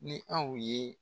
Ni aw ye.